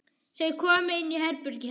Þau koma inn í herbergið hans.